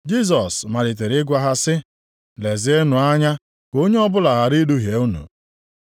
Jisọs malitere ịgwa ha sị, “Lezienụ anya ka onye ọbụla ghara iduhie unu.